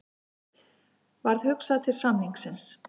Varð hugsað til samningsins.